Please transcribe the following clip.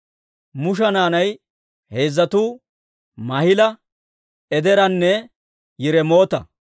Musha naanay heezzatuu Maahila, Edeeranne Yiremoota.